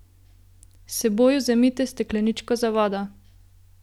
S seboj vzemite stekleničko za vodo.